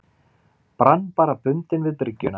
Brann bara bundinn við bryggjuna.